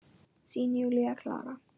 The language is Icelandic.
Þín, Júlía Klara.